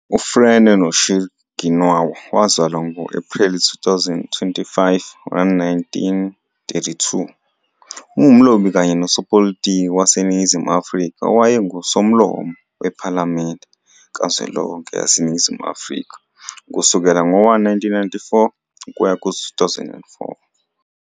U-Frene Noshir Ginwala, wazalwa ngo-Ephreli 25, 1932, ungumlobi kanye nosopolitiki waseNingizimu Afrika owayenguSomlomo wePhalamende kazwelonke yaseNingizimu Afrika ukusukela ngo-1994 ukuya ku-2004.